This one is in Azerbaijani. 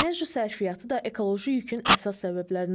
Enerji sərfiyyatı da ekoloji yükün əsas səbəblərindəndir.